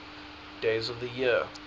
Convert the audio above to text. days of the year